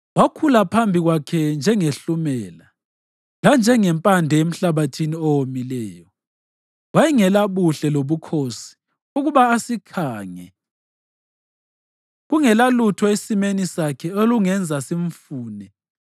Wakhula phambi kwakhe njengehlumela, lanjengempande emhlabathini owomileyo. Wayengelabuhle lobukhosi ukuba asikhange, kungelalutho esimeni sakhe olungenza simfune.